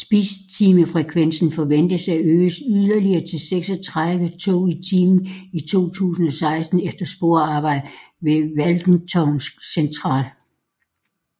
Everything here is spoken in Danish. Spidstimefrekvensen forventes at øges yderligere til 36 tog i timen i 2016 efter sporarbejder ved Walthamstow Central